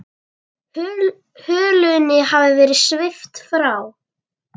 Hulunni hafði verið svipt frá.